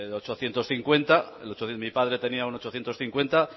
ochocientos cincuenta mi padre tenía un ochocientos cincuenta